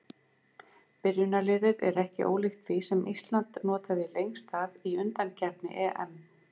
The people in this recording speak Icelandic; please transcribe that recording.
Byrjunarliðið er ekki ólíkt því sem Ísland notaði lengst af í undankeppni EM.